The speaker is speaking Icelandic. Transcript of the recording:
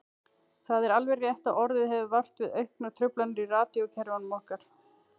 Það er alveg rétt að orðið hefur vart við auknar truflanir í radíókerfunum okkar.